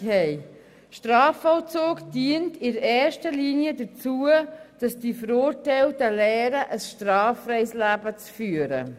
Der Strafvollzug dient in erster Linie dazu, dass die Verurteilten lernen, ein straffreies Leben zu führen.